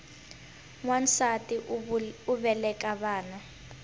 nwansati u veleka vana